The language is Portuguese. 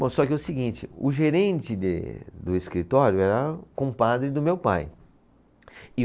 Bom, só que é o seguinte, o gerente de, do escritório era compadre do meu pai. E